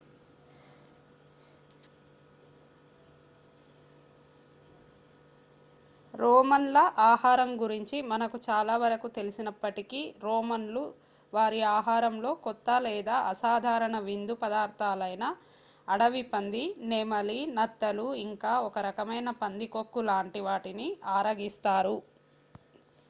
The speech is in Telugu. రోమన్ల ఆహారం గురించి మనకు చాలా వరకు తెలిసినప్పటికీ రోమన్లు వారి ఆహారంలో కొత్త లేదా అసాధారణ విందు పదార్ధాలైన అడవి పంది నెమలి నత్తలు ఇంకా ఒక రకమైన పందికొక్కు లాంటి వాటిని ఆరగిస్తారు